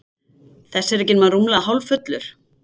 Þessi er ekki nema rúmlega hálffullur.